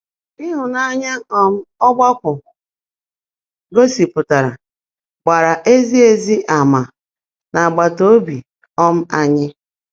Ị́hụ́nányá um ọ́gbákwọ́ gósị́pụtáárá gbààrá ézí ézí àmà̀ n’ágbátá óbí um ányị́.